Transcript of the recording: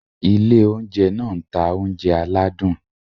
Ile ounjẹ náà n ta ounjẹ aladun.